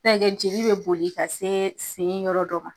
N'a ya kɛ joli be boli ka se sen yɔrɔ dɔ ma.